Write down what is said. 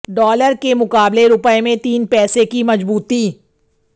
dollar के मुकाबले रूपये में तीन पैसे की मजबूती